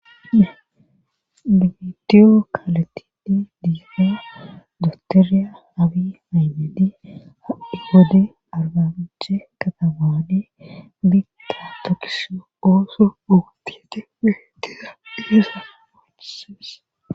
bidiyo kaletidi diahoo dostoriya abi maymedi addhi gode argamije katabaade bita tokisho goosu gootiete pehtera deesa ocesees